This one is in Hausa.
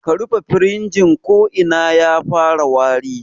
Ka rufe firijin ko ko'ina ya fara wari